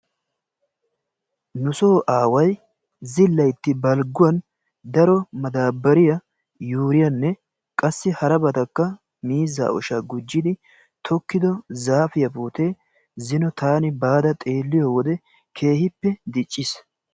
nusoo aaway zillayitti balgguwan daro madaabbariyaa yuuriyaanne qassi harabatakka miizzaa oshaa gujjidi tokkido zaafiyaa puutee zino taani baada xeelliyo wodee keehippe dicciis.